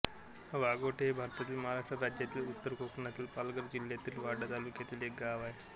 वाघोटे हे भारतातील महाराष्ट्र राज्यातील उत्तर कोकणातील पालघर जिल्ह्यातील वाडा तालुक्यातील एक गाव आहे